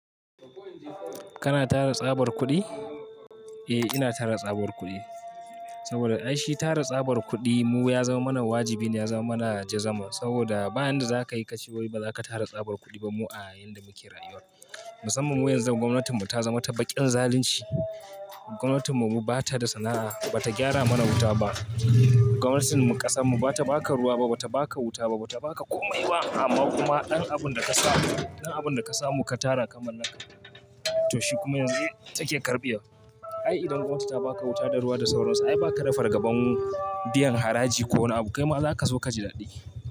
Kana tara tsabar kuɗi? Eh, ina tara tsabar kuɗi. Saboda ai shi tara tsabar kuɗi mu ya zama mana wajibi ne, ya zama mana jazama. Saboda ba inda za ka yi kace wai ba za ka tara tsabar kuɗi ba mu a inda muke rayuwa. Musamman mu yanzu gwamnatinmu ta zama ta baƙin zalunci. Gwamnatinmu ba ta da sana'a, ba ta gyara mana wuta ba. Gwamnatin ƙasarmu ba ta ba ka ruwa ba, ba ta ba ka wuta ba, ba ta ba ka komai ba. Amma kuma ɗan abun da ka samu, ɗan abun da ka samu ka tara kamar na ka. To shi kuma yanzu take karɓewa. Ai idan gwamnati ta ba ka wuta da ruwa da sauransu, ai ba ka da fargaban biyan haraji ko wani abu. Kai ma za ka zo ka ji daɗi.